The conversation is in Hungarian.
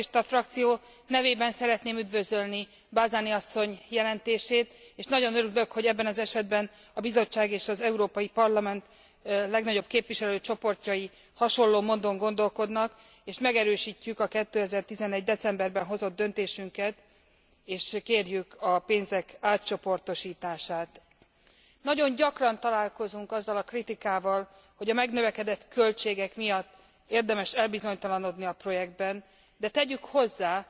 A szocialista frakció nevében szeretném üdvözölni Balzani asszony jelentését, és nagyon örülök, hogy ebben az esetben a Bizottság és az Európai Parlament legnagyobb képviselőcsoportjai hasonló módon gondolkodnak, és megerősítjük a 2011 decemberében hozott döntésünket, és kérjük a pénzek átcsoportosítását. Nagyon gyakran találkozunk azzal a kritikával, hogy a megnövekedett költségek miatt érdemes elbizonytalanodni a projektben, de tegyük hozzá,